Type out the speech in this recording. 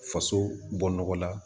Faso bɔ nɔgɔ la